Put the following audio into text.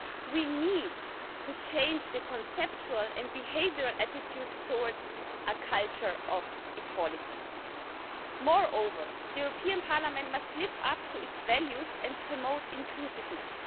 We need to change the conceptual and behavioural attitudes towards a culture of equality. Moreover, the European Parliament must live up to its values and promote inclusiveness.